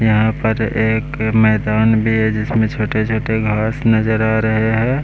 यहां पर एक मैदान भी है जिसमें छोटे छोटे घास नजर आ रहे हैं।